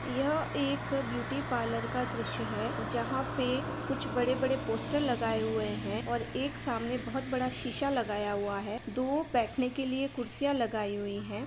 यह एक beauty parlour का दृश्य है जहां पे कुछ बड़े-बड़े पोस्टर लगाए हुए हैं और एक सामने बहोत बड़ा शीशा लगाया हुआ है। दो बैठन के लिए कुर्सियां लगाई हुईं हैं।